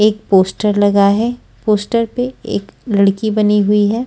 एक पोस्टर लगा है पोस्टर पे एक लड़की बनी हुई है।